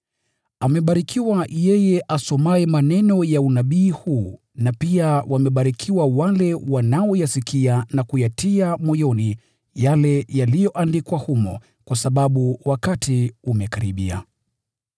Amebarikiwa yeye asomaye maneno ya unabii huu, na wamebarikiwa wale wanaoyasikia na kuyatia moyoni yale yaliyoandikwa humo, kwa sababu wakati umekaribia.